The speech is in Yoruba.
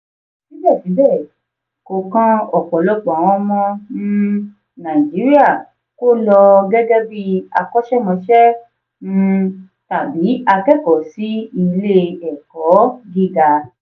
síbẹ̀síbẹ̀ kò kan ọ̀pọ̀lọpọ̀ àwọn ọmọ um nàìjíríà kó lọ gẹ́gẹ́ bí akọ́ṣẹ́mọṣẹ́ um tàbí akẹ́kọ̀ọ́ sí ilé-ẹ̀kọ́ gíga.